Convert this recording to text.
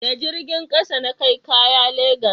da jirgin ƙasa na kai kaya legas